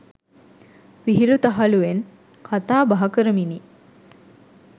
විහිළු තහලුවෙන් කතාබහ කරමිනි.